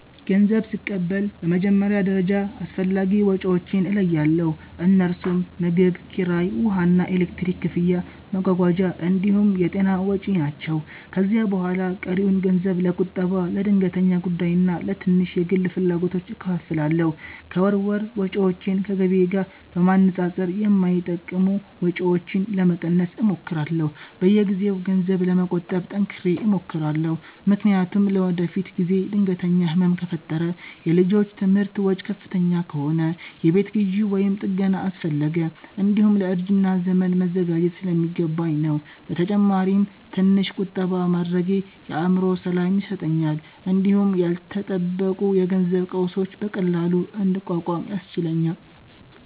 ገንዘብ ስቀበል በመጀመሪያ ደረጃ አስፈላጊ ወጪዎቼን እለያለሁ፤ እነርሱም ምግብ፣ ኪራይ፣ ውሃና ኤሌክትሪክ ክፍያ፣ መጓጓዣ እንዲሁም የጤና ወጪ ናቸው። ከዚያ በኋላ ቀሪውን ገንዘብ ለቁጠባ፣ ለድንገተኛ ጉዳይና ለትንሽ የግል ፍላጎቶች እከፋፍላለሁ። ከወር ወር ወጪዎቼን ከገቢዬ ጋር በማነጻጸር የማይጠቅሙ ወጪዎችን ለመቀነስ እሞክራለሁ። በየጊዜው ገንዘብ ለመቆጠብ ጠንክሬ እሞክራለሁ፤ ምክንያቱም ለወደፊት ጊዜ ድንገተኛ ህመም ከፈጠረ፣ የልጆች ትምህርት ወጪ ከፍተኛ ከሆነ፣ የቤት ግዢ ወይም ጥገና አስፈለገ፣ እንዲሁም ለእርጅና ዘመን መዘጋጀት ስለሚገባኝ ነው። በተጨማሪም ትንሽ ቁጠባ ማድረጌ የአእምሮ ሰላም ይሰጠኛል እንዲሁም ያልተጠበቁ የገንዘብ ቀውሶችን በቀላሉ እንድቋቋም ያስችለኛል